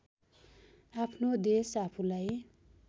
आफ्नो देश आफूलाई